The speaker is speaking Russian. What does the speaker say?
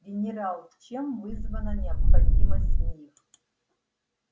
генерал чем вызвана необходимость в них